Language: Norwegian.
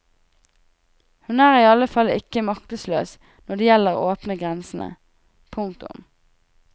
Hun er i alle fall ikke maktesløs når det gjelder å åpne grensene. punktum